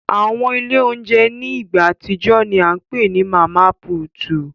Awọn ile ounjẹ ni igba atijọ ni a ǹ pe ni Mama Puutu